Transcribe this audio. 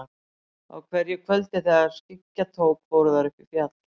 Á hverju kvöldi þegar skyggja tók fóru þær upp í fjall.